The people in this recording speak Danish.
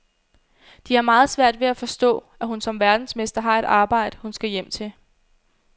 De har meget svært ved at forstå, at hun som verdensmester har et arbejde, hun skal hjem til.